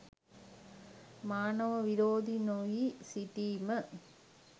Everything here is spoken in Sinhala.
මානව විරෝධී නොවී සිටීම